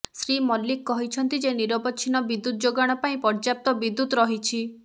ଶ୍ରୀ ମଲ୍ଲିକ କହିଛନ୍ତି ଯେ ନିରବଚ୍ଛିନ୍ନ ବିଦୁ୍ୟତ୍ ଯୋଗାଣ ପାଇଁ ପର୍ଯ୍ୟାପ୍ତ ବିଦୁ୍ୟତ୍ ରହିଛି